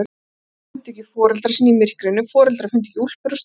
Börn fundu ekki foreldra sína í myrkrinu, foreldrar fundu ekki úlpur og stígvél.